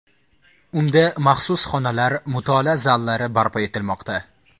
Unda maxsus xonalar, mutolaa zallari barpo etilmoqda.